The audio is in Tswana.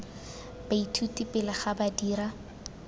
baithuti pele ga ba dira